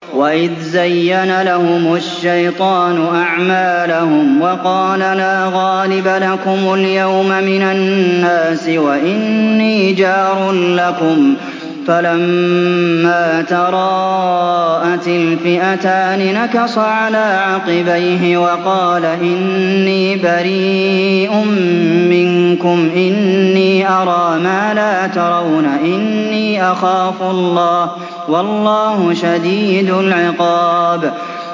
وَإِذْ زَيَّنَ لَهُمُ الشَّيْطَانُ أَعْمَالَهُمْ وَقَالَ لَا غَالِبَ لَكُمُ الْيَوْمَ مِنَ النَّاسِ وَإِنِّي جَارٌ لَّكُمْ ۖ فَلَمَّا تَرَاءَتِ الْفِئَتَانِ نَكَصَ عَلَىٰ عَقِبَيْهِ وَقَالَ إِنِّي بَرِيءٌ مِّنكُمْ إِنِّي أَرَىٰ مَا لَا تَرَوْنَ إِنِّي أَخَافُ اللَّهَ ۚ وَاللَّهُ شَدِيدُ الْعِقَابِ